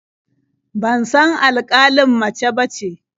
Ban san alƙalin mace bace.